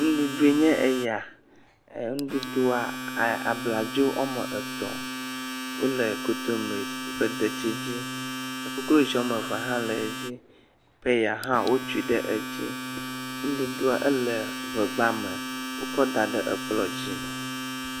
Nuɖuɖu nye eya, nɖuɖua abladzo ɔme etɔ wole konbire ƒe detsi dzi koklozi wɔame ve hã le edzi, peya hã wo tsui ɖe edzi, nɖuɖua ele ʋegbame wokɔ daɖe ekplɔ̃ dzi.